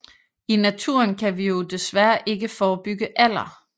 I naturen kan vi jo desværre ikke forebygge alder